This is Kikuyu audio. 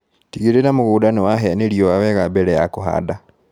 Tigĩrĩra mũgunda nĩwahĩa nĩ riua wega mbere ya kũhanda.